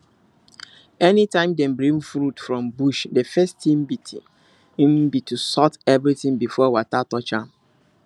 any time dem bring fruit from bush the first thing be thing be to sort everything before water touch am